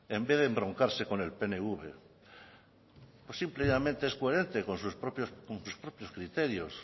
en vez de embroncarse con el pnv simple y llanamente es coherente con sus propios criterios